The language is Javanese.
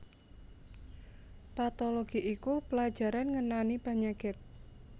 Patologi iku pelajaran ngenani panyakit